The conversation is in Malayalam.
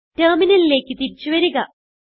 ടെർമിനലിലേക്ക് തിരിച്ചു വരുക